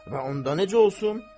Və onda necə olsun?